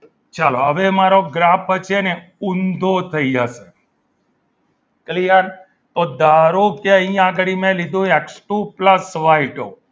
ચલો હવે મારો graph છે ને ઊંધો થઈ જશે clear તો ધારો કે અહીં આગળ મેં લીધો X two plus Y two